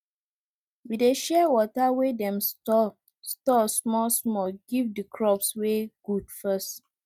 we dey share water wey dem store store smallsmall give the crops wey good first